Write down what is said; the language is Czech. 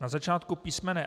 Na začátku písm.